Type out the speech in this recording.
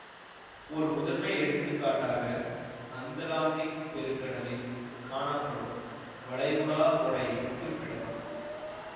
ஓர் முதன்மை எடுத்துக்காட்டாக அந்லாந்திக் பெருங்கடலில் காணப்படும் வளைகுடா ஓடையைக் குறிப்பிடலாம்